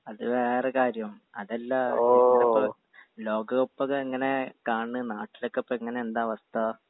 അത് വേറെ കാര്യം അതല്ല ലോകക്കപ്പൊക്കെ എങ്ങനെ കാണണ് നാട്ടിലൊക്കെപ്പെങ്ങനെ എന്താ അവസ്ഥ